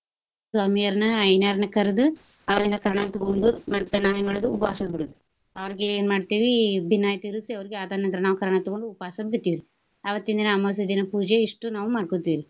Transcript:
ಸ್ವಾಮಿಯವ್ರನ ಐನಾರ್ನ ಕರ್ದು ಅವರಿಂದ ಕರ್ನಾನ ತುಗೊಂಡು ಮತ್ತ ನಾವ ಏನ ಮಾಡೋದು ಉಪವಾಸ ಬಿಡೋದು. ಅವ್ರಿಗೆ ಏನ ಮಾಡ್ತೇವಿ ಬಿನ್ನಾಯ ತಿರ್ಸಿ ಅವ್ರಿಗೆ ಅದರ ನಂತರ ನಾವ ಕರ್ನಾ ತುಗೊಂಡು ಉಪವಾಸ ಬಿಡ್ತಿವ್ರಿ. ಅವತ್ತಿನ ದಿನಾ ಅಮವಾಸ್ಯೆ ದಿನಾ ಪೂಜೆ ಇಷ್ಟು ನಾವು ಮಾಡ್ಕೊತಿವ್ರಿ.